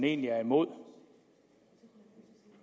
egentlig er imod